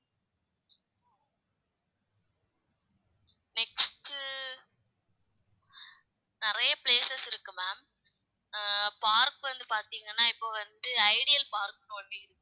next உ நிறைய places இருக்கு ma'am அஹ் park வந்து பாத்தீங்கன்னா இப்ப வந்து ஐடியல் பார்க்ன்னு ஒண்ணு இருக்கு